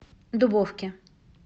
дубовке